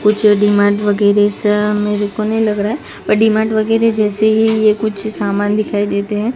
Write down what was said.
कुछ डी_मार्ट वगैरे सा मेरे को नहीं लग रहा है पर डी_मार्ट जैसे ही ये कुछ सामान दिखाई देते हैं।